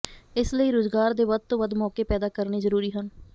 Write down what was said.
ਇਸ ਲਈ ਰੁਜ਼ਗਾਰ ਦੇ ਵੱਧ ਤੋਂ ਵੱਧ ਮੌਕੇ ਪੈਦਾ ਕਰਨੇ ਜ਼ਰੂਰੀ ਹਨ